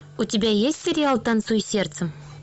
у тебя есть сериал танцуй сердцем